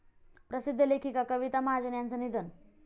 प्रसिद्ध लेखिका कविता महाजन यांचं निधन